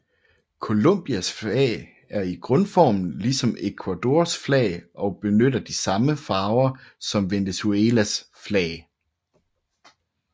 Colombias flag er i grundformen ligesom Ecuadors flag og benytter de samme farver som i Venezuelas flag